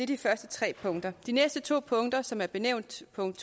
de første tre punkter de næste to punkter som er benævnt punkt